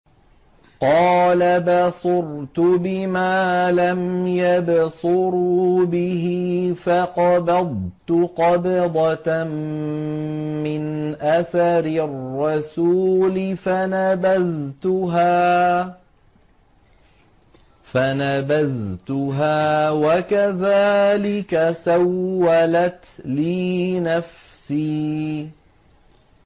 قَالَ بَصُرْتُ بِمَا لَمْ يَبْصُرُوا بِهِ فَقَبَضْتُ قَبْضَةً مِّنْ أَثَرِ الرَّسُولِ فَنَبَذْتُهَا وَكَذَٰلِكَ سَوَّلَتْ لِي نَفْسِي